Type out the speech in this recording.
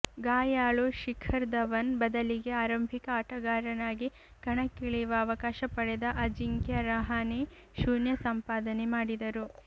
ಗಾಯಾಳು ಶಿಖರ್ ಧವನ್ ಬದಲಿಗೆ ಆರಂಭಿಕ ಆಟಗಾರನಾಗಿ ಕಣಕ್ಕಿಳಿಯುವ ಅವಕಾಶ ಪಡೆದ ಅಜಿಂಕ್ಯ ರಹಾನೆ ಶೂನ್ಯ ಸಂಪಾದನೆ ಮಾಡಿದರು